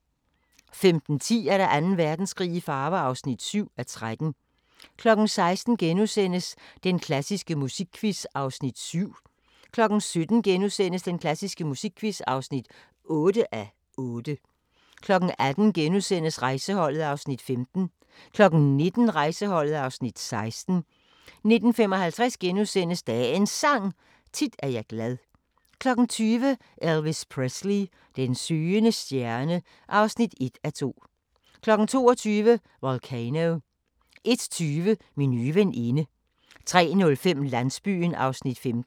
15:10: Anden Verdenskrig i farver (7:13) 16:00: Den klassiske musikquiz (7:8)* 17:00: Den klassiske musikquiz (8:8)* 18:00: Rejseholdet (Afs. 15)* 19:00: Rejseholdet (Afs. 16) 19:55: Dagens Sang: Tit er jeg glad * 20:00: Elvis Presley: Den søgende stjerne (1:2) 22:00: Volcano 01:20: Min nye veninde 03:05: Landsbyen (15:44)